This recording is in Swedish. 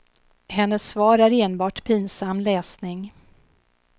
Hennes svar är enbart pinsam läsning.